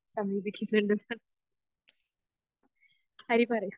സമീപിക്കുന്നുണ്ട് ഹരി പറയു